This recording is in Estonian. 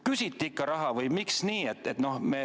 Küsiti ikka raha?